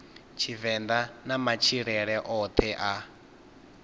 tshivenḓa na matshilele oṱhe a